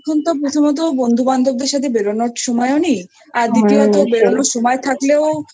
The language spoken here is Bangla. এখনতো প্রথমত বন্ধুবান্ধবদের সাথে বেরোনোর সময় নেই আর হ্যাঁ সেই দ্বিতীয়ত বেরোনোর সময় থাকলেও